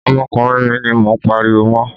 Ọmọkùnrin mi ni mo ń pariwo mọ́.